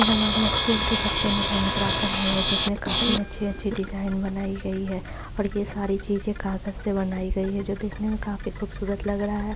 ये हमारे स्कूल के बच्चों ने हैन्ड्ग्राफ बनाया है जिसमे काफी अच्छी - अच्छी डिजाइन बनाई गई है और ये सारी चीजे काग़ज़ से बनाई गई है जो देखने मे काफी खूबसूरत लग रहा है।